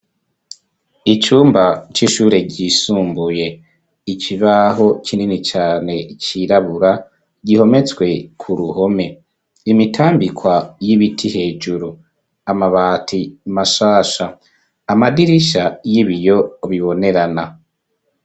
Icumba c'ishure ryisumbuye ikibaho kinini cane cirabura gihometswe ku ruhome imitambikwa y'ibiti hejuru amabati mashasha amadirishya y'ibiyo bibonerana.